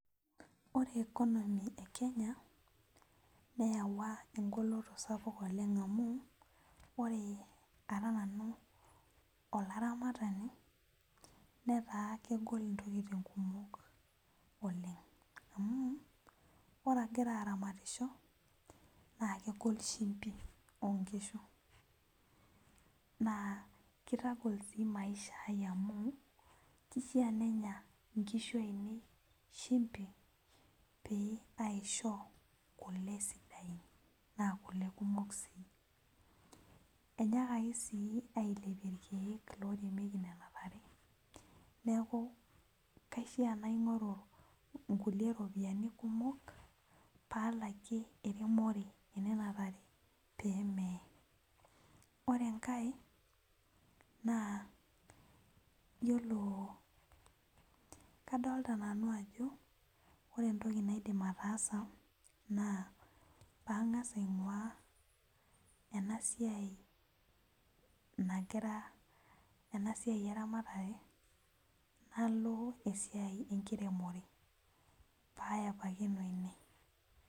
Ore economy e kenya neyawua engoloto sapuk oleng amu ore ara nanu olaramatani netaa kegol intokitin kumok oleng amu ore agira aramatisho naa kegol shimbi onkishu naa kitagol sii maisha ai amu kishia nenya inkishu ainei shimbi pee aisho kule sidain naa kule kumok sii enyaakaki sii ailepie irkeek loremieki nena tare neku kaishia naing'oru inkuli ropiyiani kumok palakie eremore enena tare pemeye ore enkae naa yiolo kadolta nanu ajo ore entoki naidim ataasa naa pang'as aing'ua ena siai nagira ena siai eramatare nalo esiai enkiremore payepakino ine.